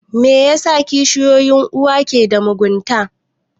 Me yasa kishiyoyin uwa ke da mugunta?